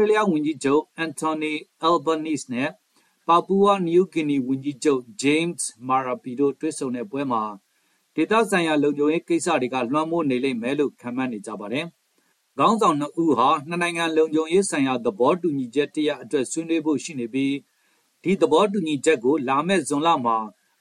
ေးလျားဝန်ကြီးချုပ် Antony Albanese နဲ့ ပါပူဝါနယူးဂီနီဝန်ကြီးချုပ် James Marape တို့ တွေ့ဆုံပွဲမှာ ဒေသဆိုင်ရာ လုံခြုံရေးကိစ္စတွေကလွှမ်းမိုးနေမယ်လို့ ခန့်မှန်းနေကြပါတယ်။ ခေါင်းဆောင်နှစ်ဦးဟာ နှစ်နိုင်ငံလုံခြုံရေးဆိုင်ရာ သဘောတူညီချက်တရပ်အတွက် ဆွေးနွေးဖို့ရှိနေပြီး ဒီသဘောတူညီချက်ကို လာမယ့် ဇွန်လမှာ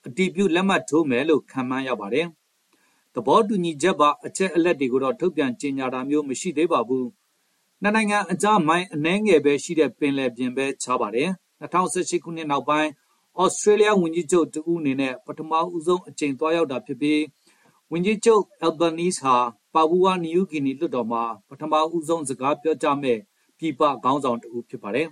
အတည်ပြုလက်မှတ်ထိုးမယ်လို့ ခန့်မှန်းရပါတယ်။ သဘောတူညီချက်ပါ အချက်အလက်တွေကိုတော့ ထုတ်ပြန်ကြေညာတာမျိုးမရှိသေးပါဘူး။ နှစ်နိုင်ငံကြား မိုင်အနည်းငယ်ပဲရှိတဲ့ပင်လယ်ပြင်ပဲ ခြားပါတယ်။ ၂၀၁၈ ခုနှစ်နောက်ပိုင်း သြစတြေးလျားဝန်ကြီးချုပ်တဦးအနေနဲ့ ပထမဆုံးအကြိမ်သွားရောက်တာဖြစ်ပြီး ဝန်ကြီးချုပ် Albanese ဟာ ပါပူဝါနယူးဂီနီလွှတ်တော်မှာ ပထမဆုံးစကားပြောကြားမယ့် ပြည်ပခေါင်းဆောင်တဦးဖြစ်ပါတယ်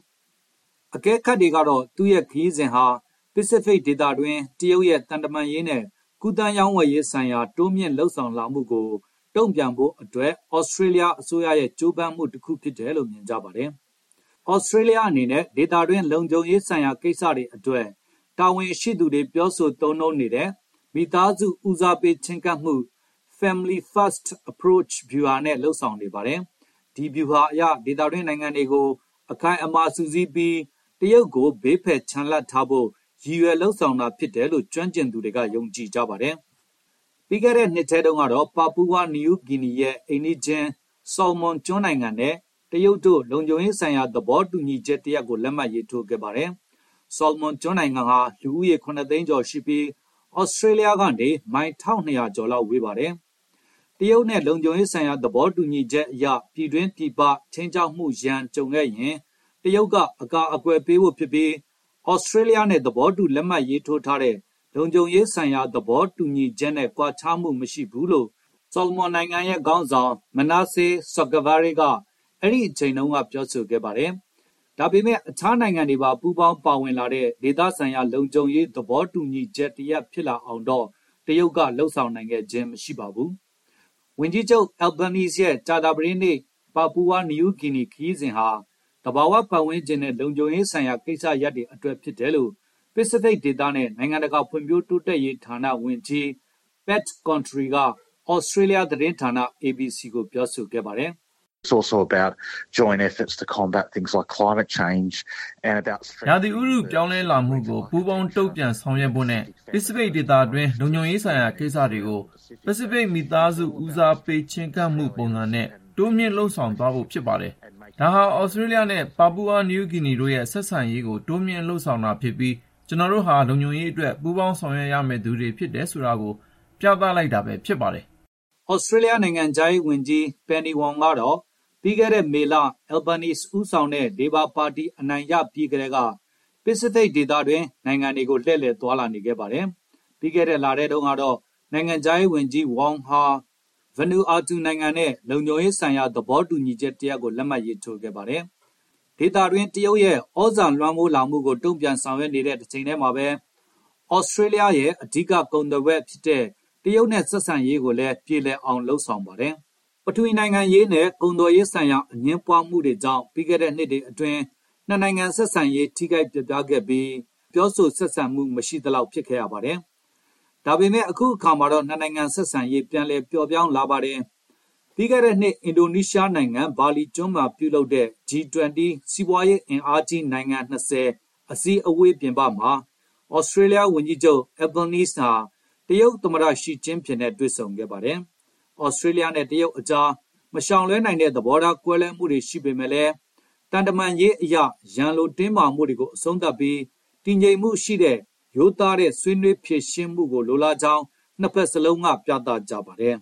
။ အကဲခတ်တွေကတော့ သူ့ရဲ့ခရီးစဉ်ဟာ ပစိဖိတ်ဒေသတွင်း တရုတ်ရဲ့သံတမန်ရေးနဲ့ ကူးသန်းရောင်းဝယ်ရေးဆိုင်ရာ တိုးမြှင့်လုပ်ဆောင်လာမှုကို တုံ့ပြန်ဖို့အတွက် သြစတြေးလျားအစိုးရရဲ့ကြိုးပမ်းမှုတခုလို့မြင်ကြပါတယ်။ သြစတြေးလျားအနေနဲ့ ဒေသတွင်းလုံခြုံရေးဆိုင်ရာကိစ္စတွေအတွက် တာဝန်ရှိသူတွေပြောဆိုသုံးနှုန်းနေတဲ့ “မိသားစု ဦးစားပေးချဉ်းကပ်မှု” “Family- first approach” ဗျူဟာနဲ့လုပ်ဆောင်နေပါတယ်။ ဒီဗျူဟာအရ ဒေသတွင်းနိုင်ငံတွေကို အခိုင်အမာစုစည်းပြီး တရုတ်ကိုဘေးဖယ်ချန်လှပ်ထားဖို့ ရည်ရွယ်လုပ်ဆောင်တာဖြစ်တယ်လို့ ကျွမ်းကျင်သူတွေက ယုံကြည်ကြပါတယ်။ ပြီးခဲ့တဲ့နှစ်ထဲတုန်းကတော့ ပါပူဝါနယူးဂီနီရဲ့ အိမ်နီးချင်း ဆော်လမွန်ကျွန်းနိုင်ငံနဲ့ တရုတ်တို့လုံခြုံရေးဆိုင်ရာ သဘောတူညီချက်တရပ်ကို လက်မှတ်ရေးထိုးခဲ့ပါတယ်။ ဆော်လမွန်နိုင်ငံဟာ လူဦးရေ ၇ သိန်းကျော်ရှိပြီး သြစတြေးလျားကနေမိုင် ၁,၂၀၀ ကျော်လောက်ဝေးပါတယ်။ တရုတ်နဲ့ လုံခြုံရေးဆိုင်ရာသဘောတူညီချက်အရ ပြည်တွင်း၊ ပြည်ပ ခြိမ်းခြောက်မှုရန်ကြုံခဲ့ရင် တရုတ်ကအကာကွယ်ပေးဖို့ဖြစ်ပြီး သြစတြေးလျားနဲ့ သဘောတူလက်မှတ်ရေးထိုးထားတဲ့ လုံခြုံရေးဆိုင်ရာ သဘောတူညီချက်နဲ့ ကွာခြားမှုမရှိဘူးလို့ ဆော်လမွန်နိုင်ငံရဲ့ခေါင်းဆောင် Manasseh Sogavare က အဲဒိအချိန်တုန်းက ပြောခဲ့ပါတယ်။ ဒါပေမယ့် အခြားနိုင်ငံတွေပါ ပူးပေါင်းပါဝင်လာတဲ့ဒေသဆိုင်ရာလုံခြုံရေး သဘောတူညီချက်တ ရပ်ဖြစ်လာအောင်တော့ တရုတ်က လုပ်ဆောင်နိုင်ခဲ့ခြင်းမရှိပါဘူး။ ဝန်ကြီးချုပ် Albanese ရဲ့ ကြာသပတေးနေ့ ပါပူဝါနယူးဂီနီခရီးစဉ်ဟာ သဘာဝပတ်ဝန်းကျင်နဲ့ လုံခြုံရေးဆိုင်ရာကိစ္စရပ်တွေအတွက်ဖြစ်တယ်လို့ ပစိဖိတ်ဒေသနဲ့ နိုင်ငံတကာဖွံ့ဖြိုးတိုးတက်ရေးဌာနဝန်ကြီး Pat Controy က သြစတြေးလျားသတင်းဌာန ABC ကိုပြောဆိုခဲ့ပါတယ်။ “ရာသီဥတုပြောင်းလဲလာမှုကို ပူးပေါင်းတုံ့ပြန်ဆောင်ရွက်ဖို့နဲ့ ပစိဖိတ်ဒေသတွင်း လုံခြုံရေးဆိုင်ရာကိစ္စတွေကို “ပစိဖိတ်မိသားစုဦးစားပေးချဉ်းကပ်မှုပုံစံနဲ့” တိုးမြှင့်လုပ်ဆောင်သွားဖို့ဖြစ်ပါတယ်။ ဒါဟာ သြစတြေးလျားနဲ့ ပါပူဝါနယူးဂီနီတို့ရဲ့ ဆက်ဆံရေးကိုတိုးမြှင့်လုပ်ဆောင်တာဖြစ်ပြီး ကျနော်တို့ဟာ လုံခြုံရေးအတွက်ပူးပေါင်းဆောင်ရွက်ရမယ့်သူတွေဖြစ်တယ်ဆိုတာကို ပြသလိုက်တာပဲ ဖြစ်ပါတယ်။” သြစတြေးလျား နိုင်ငံခြားရေးဝန်ကြီး Penny Wong ကတော့ ပြီးခဲ့တဲ့မေလ Albanese ဦးဆောင်တဲ့ လေဘာပါတီအနိုင်ရပြီးကတည်းက ပစိဖိတ်ဒေသနိုင်ငံတွေကို လှည့်လည်သွားလာနေခဲ့ပါတယ်။ ပြီးခဲ့တဲ့လထဲတုန်းကတော့ နိုင်ငံခြားရေးဝန် ကြီး Wong ဟာ Vanuatu နိုင်ငံနဲ့လုံခြုံရေးဆိုင်ရာသဘောတူညီချက်တရပ်ကို လက်မှတ်ရေးထိုးခဲ့ပါတယ်။ ဒေသတွင်းတရုတ်ရဲ့သြဇာလွှမ်းမိုးလာမှုကိုတုံ့ပြန်ဆောင်ရွက်နေတဲ့တချိန်တည်းမှာပဲ သြစတြေးလျားရဲ့ အဓိကကုန်သွယ်ဖက်ဖြစ်တဲ့ တရုတ်နဲ့ဆက်ဆံရေးကိုလည်း ပြေလည်အောင်လုပ်ဆောင်ပါတယ်။ ပထဝီနိုင်ငံရေးနဲ့ ကုန်သွယ်ရေးဆိုင်ရာအငြင်းပွားမှုတွေကြောင့် ပြီးခဲ့တဲ့နှစ်တွေအတွင်း နှစ်နိုင်ငံဆက်ဆံရေး ထိခိုက်ပျက်ပြားခဲ့ပြီး နှစ်နိုင်ငံပြောဆိုဆက်ဆံမှုတွေမရှိသလောက်ဖြစ်ခဲ့ရပါတယ်။ ဒါပေမဲ့ အခုတော့နှစ်နိုင်ငံဆက်ဆံရေး ပြန်လည်ပျော့ပြောင်းလာပါတယ်။ ပြီးခဲ့တဲ့နှစ် အင်ဒိုနီးရှားနိုင်ငံ ဘာလီကျွန်းမှာပြုလုပ်တဲ့ G20 စီးပွားရေးအင်အားကြီးနိုင်ငံ ၂၀ အစည်းဝေးပြင်ပမှာ သြစတြေးလျားဝန်ကြီးချုပ် Albanese ဟာ တရုတ်သမ္မတ ရှီကျင်းဖျင်နဲ့တွေ့ဆုံခဲ့ပါတယ်။ သြစတြေးလျားနဲ့တရုတ်ကြား မရှောင်လွှဲနိုင်တဲ့ သဘောထားကွဲလွဲမှုတွေရှိပေမယ့်လည်း သံတမန်ရေးအရ ရန်လိုတင်းမာမှုတွေကိုအဆုံးသတ်ပြီး၊ တည်ငြိမ်မှုရှိတဲ့၊ ရိုးသားတဲ့ ဆွေးနွေးဖြေရှင်းမှုကိုလိုလားကြောင်းနှစ်ဘက်စလုံးက ပြသကြပါတယ်။